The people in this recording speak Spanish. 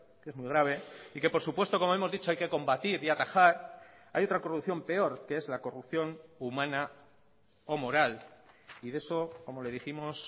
que es muy grave y que por supuesto como hemos dicho hay que combatir y atajar hay otra corrupción peor que es la corrupción humana o moral y de eso como le dijimos